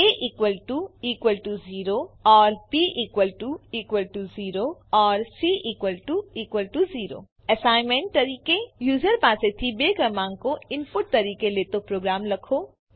એ 0 || B 0 || C 0 assignment user પાસેથી બે ક્રમાંકો ઇનપુટ તરીકે લેતો પ્રોગ્રામ લખો